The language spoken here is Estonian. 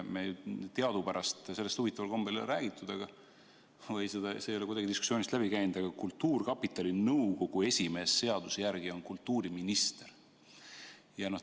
Teadupärast sellest huvitaval kombel ei räägitud või see ei ole kuidagi diskussioonist läbi käinud, aga kultuurkapitali nõukogu esimees on seaduse järgi kultuuriminister.